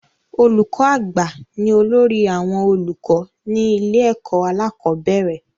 Olùkọ́ àgbà ni olórí àwọn olùkọ́ ní ilé ẹ̀kọ́ alákọ̀bẹ́rẹ̀